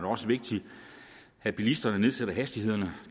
også vigtigt at bilisterne nedsætter hastigheden